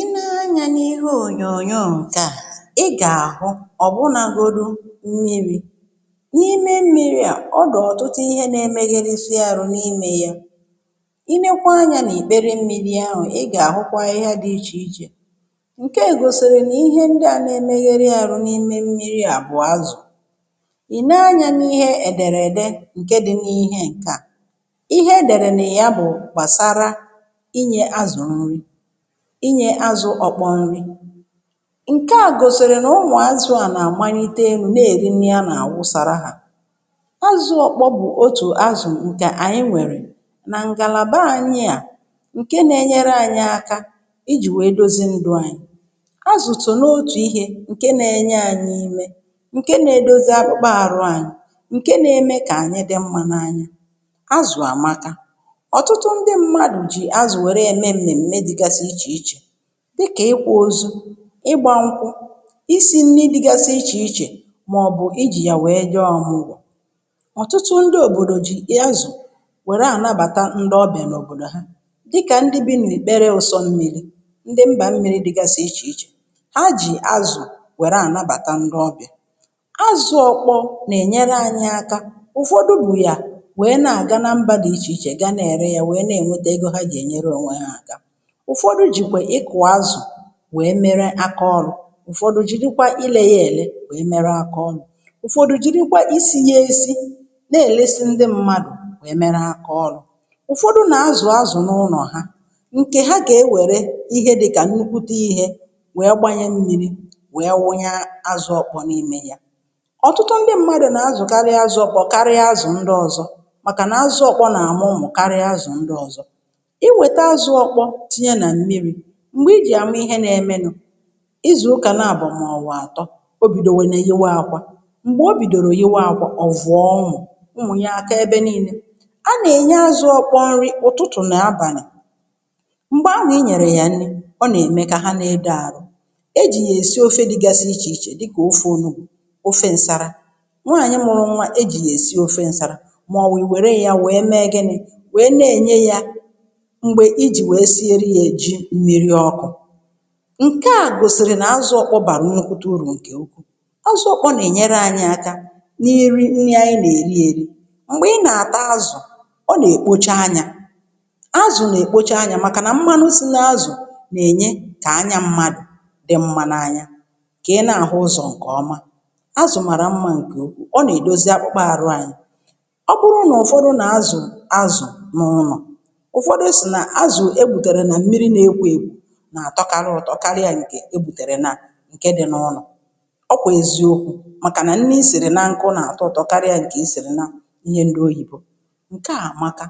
Ị nee anya n’ihe ònyònyo ǹkè a i gà-àhụ ọ̀ bụnagodu mmi̇ri. N’ime mmiri à ọ dị̀ ọ̀tụtụ ihe na-emegheresi arụ n’ime ya. Ị nekwaa anya n’ìkpere mmi̇ri ahụ̀ ị gà-àhụkwa ahịhịa dị ichè ichè ǹke gòsìrì nà ihe ndị à na-emeghere arụ̀ n’ime mmiri à bụ̀ azụ̀. Ị nee anya n’ihe èdèrède ǹke dị n’ihe ǹke à ihe èdèrè nà ị ya bụ̀ gbàsara inye azụ nri inye azụ ọkpọ nri. Nke à gòsìrì na ụmụ̀ azụ̇ à nà-àmanite enù na-èri nri nà-àwụsàrà hà. Azụ ọkpọ bụ̀ otù azụ̀ ǹkè ànyị nwèrè nà ǹgàlàbà ànyị à ǹke na-enyere ànyị aka ijì nwèe dozi ndụ ànyị. Azụ̀ so n’otù ihe ǹke na-enye ànyị ume ǹke na-edozi akpụkpọ àrụ ànyị ǹke na-eme kà ànyị dị mma n’anya azụ̀ àmaka. Ọtụtụ ndị mmadụ ji azụ were eme mmemme dịgasị iche iche dịkà ịkwa ozu, ịgba nkwụ, ị si nni dịgasị ichè ichè màọ̀bụ̀ ijì wèe jee ọmụgwọ. Ọtụtụ ndị òbòdò jì azụ wère ànabàta ndị ọbịà nà òbòdò ha dịkà ndị bi̇ nà-ikpere ụsọ mmiri̇ ndị mbà mmiri̇ dịgàsị̀ ichè ichè, ha jì azụ̀ wère ànabàta ndị ọbịà. Azụ ọkpọ nà-ènyere anyị aka ụ̀fọdụ bù yà wèe na-àga na mba dị̀ ichè ichè gaa na-ère ya wèe na-ènweta ego ha gà-ènyere ònwe ha àka. Ụfọdụ jikwe ị kù azụ wèe mere akaọrụ ụ̀fọdụ jìrikwa ile ya èle wèe mere akaọrụ, ụ̀fọdụ jìrikwa isi ya esi̇ na-èlesi ndị mmadụ̀ wèe mere akaọrụ. Ụfọdụ nà-azú azụ̀ n’ụlọ̀ ha ǹkè ha gà-ewère ihe dịkà n’ukwute ihe wèe gbanyè mmi̇ri wèe wụnye azụ ọkpọ n’ime ya. Ọtụtụ ndị mmadụ̀ nà-azụ̀karị azụ̀ ọkpọ karịa azụ̀ ndị ọ̀zọ màkà nà-azụ̀ ọkpọ nà-àmụ ụmụ̀ karịa azụ̀ ndị ọ̀zọ. Iwèta azụ ọkpọ tinye na mmiri m̀gbè i jì àma ihe na-eme nọ̀ ịzụ̀ ụkà na-abọ̀ màọ̀wụ̀ àtọ o bìdòwena yịwe akwa. Mgbè o bìdòrò iwe akwa ọ vụọ ụmụ̀ ụmụ̀ ya aka ebe nii̇ne. A nà-ènye azụ ọkpọ nri ụ̀tụtụ̀ na abàlà m̀gbè ahụ̀ a nyèrè yà nni, ọ nà-ème kà ha na-edo àrụ. E jì yà-èsi ofe dịgasi ichè ichè dịkà ofe onùgbu, ofe ǹsàrà, nwaànyị mụrụ nwa e jì yà-èsi ofe ǹsàrà màọwụ̀ i wère ya wee mee gini wee na-ènye ya mgbe i ji wee sièrè ya jí mmiri ọkụ. Nke à gòsìrì nà azụ ọkpọ bàrụ̀ nnukwute uru nke ukwùu. Azụ ọkpọ nà-ènyere ànyị aka n’irì nri ànyị nà-èri eri̇. Mgbè ị nà-àta azụ̀ ọ nà-èkpocha anya azụ̀ nà-èkpocha anya màkànà mmanụ si n’azụ̀ nà-ènye kà anya mmadụ̀ dị mma n’anya kà ị nà-àhụ ụzọ̀ ǹkè ọma. Azụ̀ màrà mma ǹkè ukwuu, ọ nà-èdozi akpụkpa arụ anyị. Ọ bụrụ na ụ̀fọdụ nà azụ̀ azụ̀ n’ụnọ̀, ụfọdụ si na azụ egbutere na mmiri na-ekwo ekwo nà-àtọkarị ụtọ karịa ǹkè egbùtèrè nà ǹke dị n’ụlọ̀ ọ kwà èziokwu màkà nà nni isị̀rị̀ naa nkụ na-àtọ ụtọ karịa ǹkè i sìrì na ihe ndị oyìbo, nke à àmaka.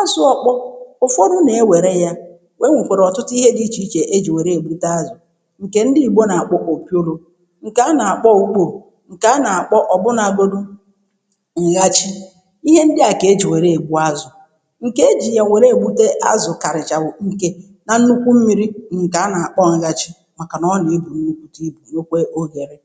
Azụ̀ ọkpọ ụfọdụ nà-ewère ya enwèkwara ọ̀tụtụ ihe dị ichè ichè ejì wère ègbute azụ̀ ǹkè ndị ìgbò nà-àkpọ opióró ǹkè a nà-àkpọ ùkpoo, ǹkè a nà-àkpọ ọ̀bụ̀nagodù ǹghachì. Ihe ndị à kà e jì wère ègbu azụ̀, ǹkè e jì ya wère ègbute azụ̀ karịcha wụ̀ nke na nnukwu mmịrị bụ ǹkè a nà akpọ nghachi màkà nà ọ nà ebù nnụkwụta ibù nwèkwà oghèrè.